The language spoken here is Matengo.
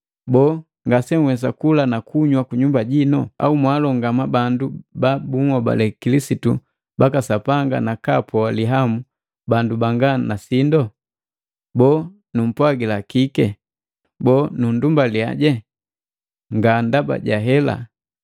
Boo, ngasenwesa kula na kunywa kunyumba jino! Au mwaalongama bandu ba bunhobale Kilisitu baka Sapanga nakaapoa lihamu bandu banga na sindo? Boo, numpwagila kii? Boo, nunndumbalia? Nga ndaba jahela.